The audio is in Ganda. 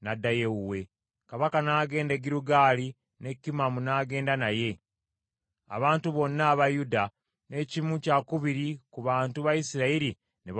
Kabaka n’agenda e Girugaali ne Kimamu n’agenda naye; abantu bonna aba Yuda, n’ekimu kyakubiri ku bantu ba Isirayiri ne bawerekera kabaka.